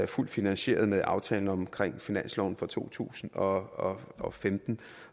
fuldt finansieret med aftalen om finansloven for to tusind og og femten